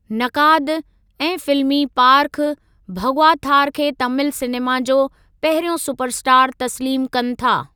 नक़ाद ऐं फिल्मी पार्खू भगवाथार खे तामिल सिनेमा जो पहिरियों सुपर स्टार तस्लीमु कनि था।